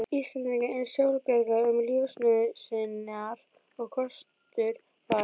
Íslendinga eins sjálfbjarga um lífsnauðsynjar og kostur var.